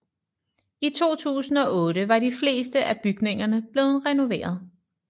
I 2008 var de fleste af bygningerne blevet renoveret